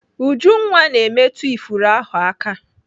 Ujunwa na-emetụ ifuru ahụ aka.